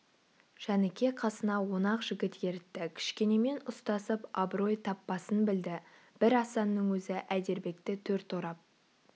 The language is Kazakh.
жәніке қасына он-ақ жігіт ертті кішкенемен ұстасып абырой таппасын білді бір асанның өзі әйдербекті төрт орап